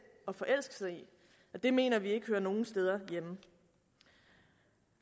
at forelske sig i og det mener vi ikke hører nogen steder hjemme